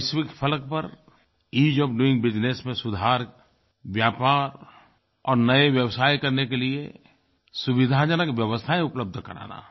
वैश्विक फ़लक पर ईज़ ओएफ डोइंग बिजनेस में सुधार व्यापार और नये व्यवसाय करने के लिए सुविधाजनक व्यवस्थाएँ उपलब्ध कराना